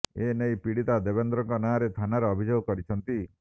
ଏ ନେଇ ପୀଡ଼ିତା ଦେବେନ୍ଦ୍ରଙ୍କ ନାଁରେ ଥାନାରେ ଅଭିଯୋଗ କରିଛନ୍ତି